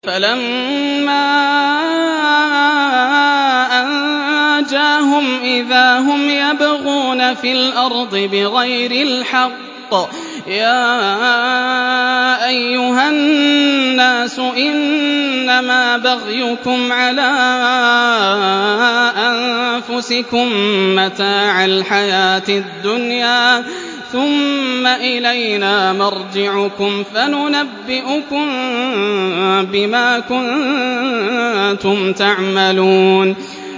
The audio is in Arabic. فَلَمَّا أَنجَاهُمْ إِذَا هُمْ يَبْغُونَ فِي الْأَرْضِ بِغَيْرِ الْحَقِّ ۗ يَا أَيُّهَا النَّاسُ إِنَّمَا بَغْيُكُمْ عَلَىٰ أَنفُسِكُم ۖ مَّتَاعَ الْحَيَاةِ الدُّنْيَا ۖ ثُمَّ إِلَيْنَا مَرْجِعُكُمْ فَنُنَبِّئُكُم بِمَا كُنتُمْ تَعْمَلُونَ